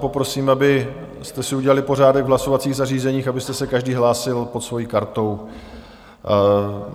Poprosím, abyste si udělali pořádek v hlasovacích zařízeních, abyste se každý hlásil pod svojí kartou.